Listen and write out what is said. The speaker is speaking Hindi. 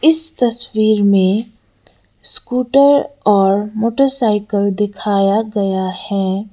इस तस्वीर में स्कूटर और मोटरसाइकिल दिखाया गया है।